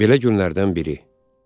Belə günlərdən biri.